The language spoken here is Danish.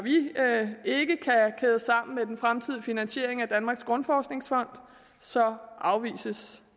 at sammen med den fremtidige finansiering af danmarks grundforskningsfond så afvises